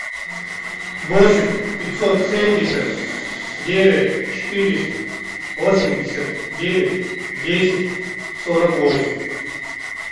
восемь пятьсот семьдесят девять четыреста восемьдесят девять десять сорок восемь